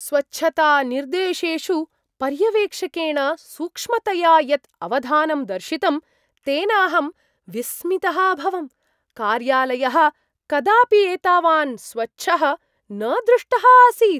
स्वच्छतानिर्देशेषु पर्यवेक्षकेण सूक्ष्मतया यत् अवधानं दर्शितं तेन अहं विस्मितः अभवम्। कार्यालयः कदापि एतावान् स्वच्छः न दृष्टः आसीत्!